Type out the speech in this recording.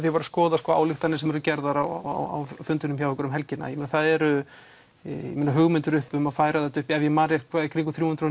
ég var að skoða ályktanir sem voru gerðar á fundinum hjá ykkur um helgina það eru hugmyndir uppi um að færa þetta upp í ef ég man rétt í kringum þrjú hundruð